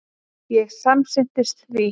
Ég samsinnti því.